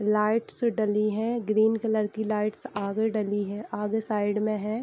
Lights डली है green colour की लाइट्स आगे डली है आगे साइड में है।